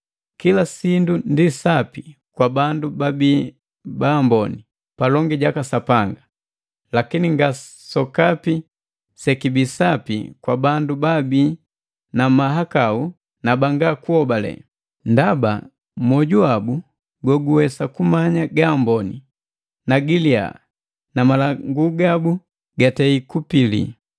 Kila sindu ndi sapi kwa bandu babii baamboni palongi jaka Sapanga; lakini nga sokapi sekibii sapi kwa bandu baabi na mahakau na banga kuhobale, ndaba mwoju wabu goguwesa kumanya gaamboni na giliya na malangu gabu gatei kupili.